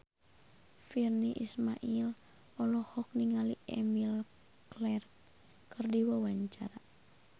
Virnie Ismail olohok ningali Emilia Clarke keur diwawancara